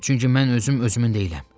Çünki mən özüm özümün deyiləm.